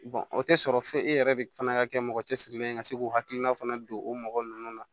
o tɛ sɔrɔ fe e yɛrɛ de fana ka kɛ mɔgɔ cɛsirilen ye ka se k'u hakilina fana don o mɔgɔ ninnu na